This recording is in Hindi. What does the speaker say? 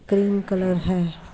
क्रीम कलर है|